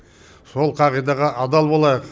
сол қағидаға адал болайық